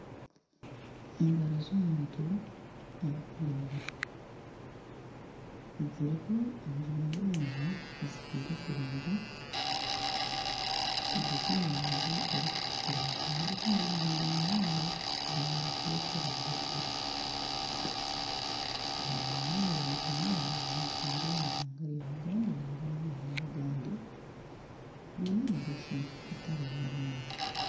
Engaro z'omuntu arikwiragura ziriho enjuma z'omwani tizihiire kurungi ziri omu rangi erikutukura nana ezindi zihiire munonga zayenda kureta erangi erikwiragura. Omwani ni murungi munonga niguhingwa omu ihanga rya Ugand nangwa n'amahanga agandi. Gwine emigasho etari emwe nemwe.